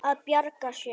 Að bjarga sér.